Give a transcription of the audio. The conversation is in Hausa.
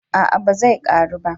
a'a ba zai karu ba